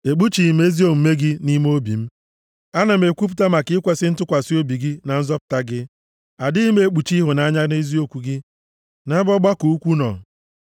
Ekpuchighị m ezi omume gị nʼime obi m, ana m ekwupụta maka ikwesi ntụkwasị obi gị na nzọpụta gị. Adịghị m ekpuchi ịhụnanya na eziokwu gị, nʼebe ọgbakọ ukwuu nọ.